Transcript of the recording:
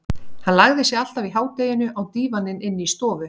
Hann lagði sig alltaf í hádeginu á dívaninn inni í stofu.